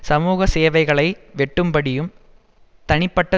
சமூக சேவைகளை வெட்டும்படியும் தனிப்பட்ட